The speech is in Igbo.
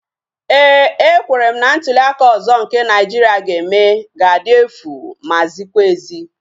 Éè, ekwere m na ntuliaka ọzọ nke Naịjiria ga-eme ga-adị efu ma zikwa ezi